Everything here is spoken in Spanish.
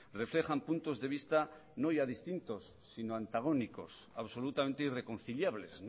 reflejan puntos de vista no ya distintos sino antagónicos absolutamente irreconciliables